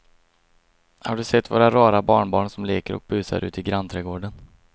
Har du sett våra rara barnbarn som leker och busar ute i grannträdgården!